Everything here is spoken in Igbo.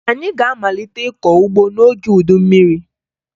Anyị ga-amalite ịkọ ugbo n'oge udu mmiri